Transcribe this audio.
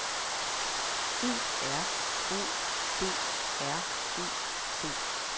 E R O B R E T